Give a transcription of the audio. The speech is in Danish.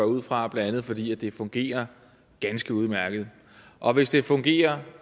ud fra bla fordi det fungerer ganske udmærket og hvis det fungerer